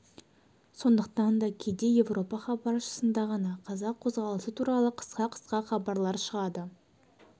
сондықтан да кейде европа хабаршысында ғана қазақ қозғалысы туралы қысқа-қысқа хабарлар шығады